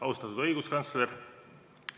Austatud õiguskantsler!